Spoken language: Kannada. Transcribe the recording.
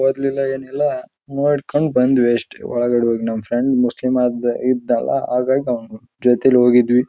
ಒದ್ಲಿಲ್ಲ ಏನಿಲ್ಲ ನೋಡ್ಕೊಂಡ್ ಬಂದ್ವಿ ಅಷ್ಟೇ ಒಳಗಡೆ ಹೋಗಿ ನಮ ಫ್ರೆಂಡ್ ಮುಸ್ಲಿಂ ಇದ್ದ ಅಲ ಹಾಗಾಗಿ ನಾವ್ ಜೊತೆಗ್ ಹೋದ್ವಿ.